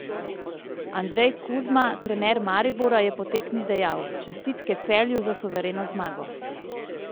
Andrej Kuzma, trener Maribora, je po tekmi dejal: "Čestitke Celju za suvereno zmago.